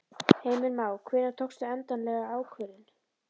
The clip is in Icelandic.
Heimir Már: Hvenær tókstu endanlega ákvörðun?